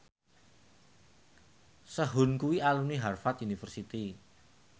Sehun kuwi alumni Harvard university